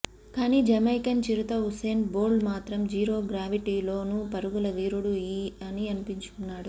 కానీ జమైకన్ చిరుత Usain Bolt మాత్రం జీరో గ్రావిటీలోనూ పరుగుల వీరుడు అనిపించుకున్నాడు